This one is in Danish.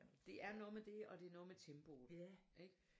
Det er noget med det og det er noget med tempoet ikke